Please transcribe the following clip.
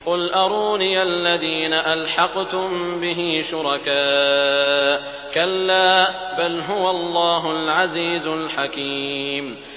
قُلْ أَرُونِيَ الَّذِينَ أَلْحَقْتُم بِهِ شُرَكَاءَ ۖ كَلَّا ۚ بَلْ هُوَ اللَّهُ الْعَزِيزُ الْحَكِيمُ